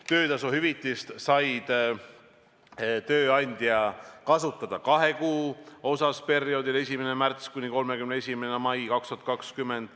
Töötasu hüvitist sai tööandja kasutada kahe kuu puhul, perioodil 1. märts kuni 31. mai 2020.